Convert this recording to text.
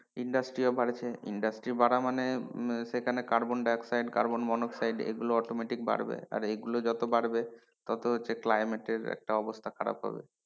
Industry ও বাড়ছে industry বারা মানে সেখানে কার্বন ডাই অক্সাইড কার্বন মনোক্সাইড এগুলো automatic বাড়বে আর এগুলো যত বাড়বে তত হচ্ছে climate এর একটা অবস্থা খারাপ হবে।